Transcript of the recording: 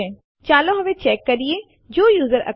તમે જોશો કે આ ફાઈલો વાસ્તવમાં કોપી થયેલ છે